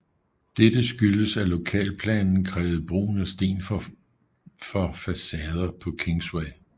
Dette skyldtes at lokalplanen krævede brugen af sten for facader på Kingsway